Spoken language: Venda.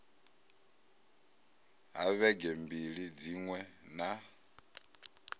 ha vhege mbili dziṅwe na